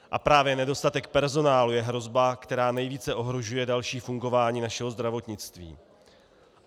A právě nedostatek personálu je hrozba, která nejvíce ohrožuje další fungování našeho zdravotnictví.